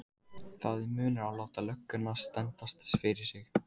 Það er munur að láta lögguna sendast fyrir sig.